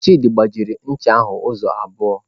Chidi gbawara ncha ahụ ụzọ abụọ.